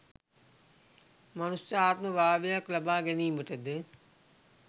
මනුෂ්‍ය ආත්ම භාවයක් ලබාගැනීමටද